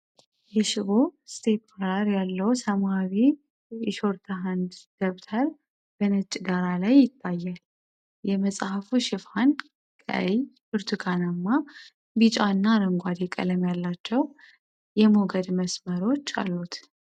የሽቦ ስፒራል ያለው ሰማያዊ የሾርትሃንድ ደብተር በነጭ ዳራ ላይ ይታያል። የመጽሐፉ ሽፋን ቀይ፣ ብርቱካናማ፣ ቢጫ እና አረንጓዴ ቀለም ያላቸው የሞገድ መስመሮች አሉት።